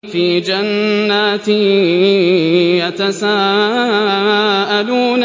فِي جَنَّاتٍ يَتَسَاءَلُونَ